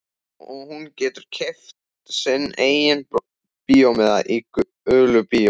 Og hún getur keypt sinn eigin bíómiða í gulu bíói.